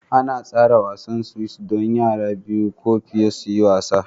An tsara seesaws don yara biyu ko fiye su yi wasa